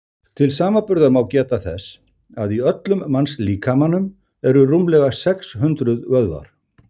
til samanburðar má geta þess að í öllum mannslíkamanum eru rúmlega sex hundruð vöðvar